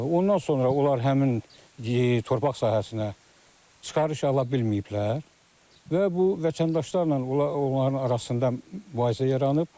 Ondan sonra onlar həmin torpaq sahəsinə çıxarış ala bilməyiblər və bu vətəndaşlarla onların arasında mübahisə yaranıb.